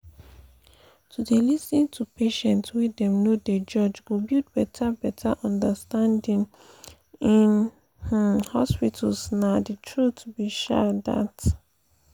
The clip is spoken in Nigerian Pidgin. to dey lis ten to patients wey dem no dey judge go build better better understanding in um hospitals nah the truth be um dat.